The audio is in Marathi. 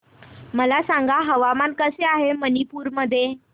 मला सांगा हवामान कसे आहे मणिपूर मध्ये